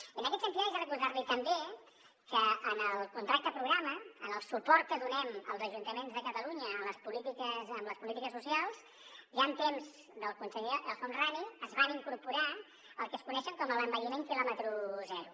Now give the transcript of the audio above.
i en aquest sentit haig de recordar li també que en el contracte programa en el suport que donem als ajuntaments de catalunya en les polítiques socials ja en temps del conseller el homrani es va incorporar el que es coneix com a envelliment quilòmetre zero